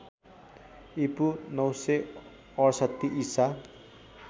ईपू ९६८ ईसा